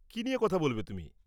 কী নিয়ে কথা বলবে তুমি?